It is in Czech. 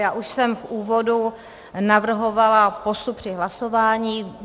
Já už jsem v úvodu navrhovala postup při hlasování.